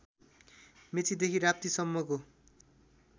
मेचीदेखि राप्ती सम्मको